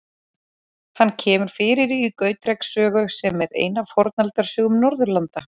Hann kemur fyrir í Gautreks sögu, sem er ein af Fornaldarsögum Norðurlanda.